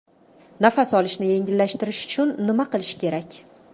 Nafas olishni yengillashtirish uchun nima qilish kerak?